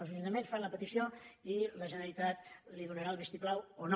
els ajuntaments fan la petició i la generalitat hi donarà el vistiplau o no